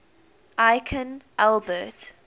aikin albert